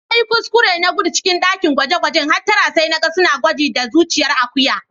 Na yi kuskure na gudu cikin dakin gwaje-gwajen hattara sai na gan suna gwaji da zuciyan Akuya.